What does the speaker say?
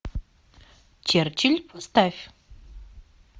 черчилль поставь